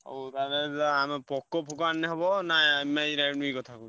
ହଉ ତାଲେ ଆଣ POCO ଫୋକୋ ଆଣିନେ ନା Mi, Redmi କଥା କହୁଚୁ?